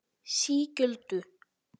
Sigöldu